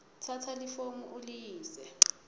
tsatsa lifomu uliyise